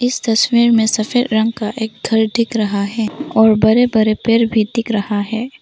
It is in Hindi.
इस तस्वीर में सफेद रंग का एक घर दिख रहा है और बड़े बड़े पेड़ भी दिख रहा है।